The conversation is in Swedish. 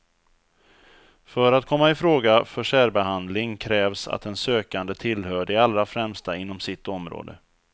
För att komma ifråga för särbehandling krävs att den sökande tillhör de allra främsta inom sitt område.